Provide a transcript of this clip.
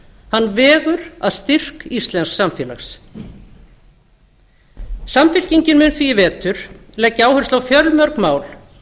hann vegur að styrk íslensks samfélags samfylkingin mun því í vetur leggja áherslu á fjölmörg mál